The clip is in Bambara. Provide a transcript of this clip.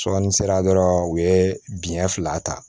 ni sera dɔrɔn u ye biɲɛ fila ta